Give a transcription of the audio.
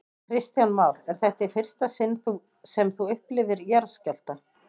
Kristján Már: Er þetta í fyrsta sinn sem þú upplifir jarðskjálfta?